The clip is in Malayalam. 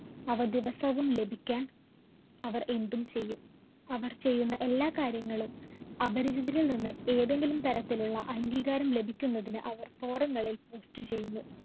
അവ ദിവസവും ലഭിക്കാന്‍ അവര്‍ എന്തും ചെയ്യും. അവര്‍ ചെയ്യുന്ന എല്ലാ കാര്യങ്ങളും അപരിചിതരില്‍ നിന്ന് ഏതെങ്കിലും തരത്തിലുള്ള അഗീകാരം ലഭിക്കുന്നതിന് അവര്‍ forum ങ്ങളില്‍ post ചെയ്യുന്നു.